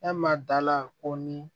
E ma dala ko ni